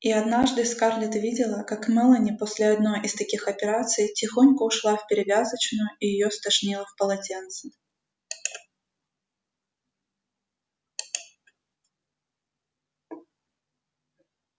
и однажды скарлетт видела как мелани после одной из таких операций тихонько ушла в перевязочную и её стошнило в полотенце